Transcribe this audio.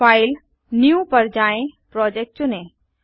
file new पर जाएँ project चुनें